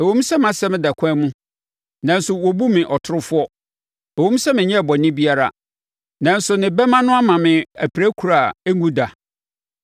Ɛwom sɛ mʼasɛm da ɛkwan mu, nanso, wɔbu me ɔtorofoɔ; ɛwom sɛ menyɛɛ bɔne biara, nanso ne bɛmma no ama me apirakuro a ɛnnwu da.’